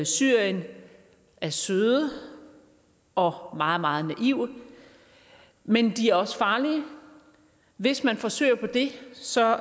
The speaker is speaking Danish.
syrien er søde og meget meget naive men de er også farlige hvis man forsøger på det så